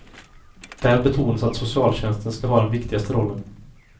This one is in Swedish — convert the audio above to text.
Där betonas att socialtjänsten ska ha den viktigaste rollen.